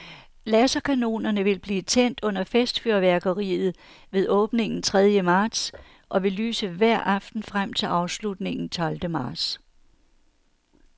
Laserkanonerne vil blive tændt under festfyrværkeriet ved åbningen tredje marts og vil lyse hver aften frem til afslutningen tolvte marts.